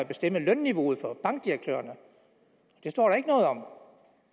bestemme lønniveauet for bankdirektørerne det står der ikke noget om